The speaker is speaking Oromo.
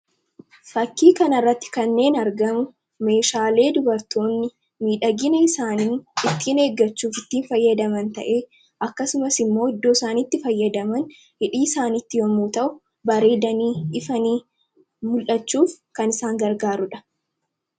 Fakkii kanarratti kanneen argamu meeshaalee dubartoonni miidhagina isaaniin ittiin eeggachuuf ittiin fayyadaman ta'e akkasumas immoo iddoo isaaniitti fayyadaman hidhii isaanitti yomuu ta'u bareedanii ifanii mul'achuuf kan isaan gargaaruudha.